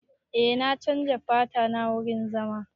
Eh na chanza fata na wurin zama.